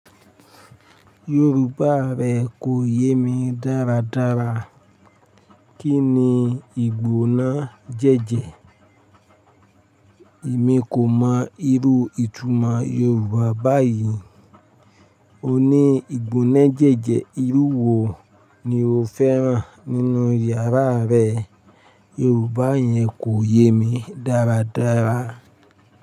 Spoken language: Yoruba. Yorùbá rẹ kò yé mi dáradára. Kí ni ìgbóná jẹ́jẹ́? Èmi kò mọ irú ìtumọ̀ Yorùbá báyìí. O ní ìgbóná jẹ́jẹ́, irú wo ni o fẹ́ràn nínú yàrá rẹ? Yorùbá yẹn kò yé mi dáradára.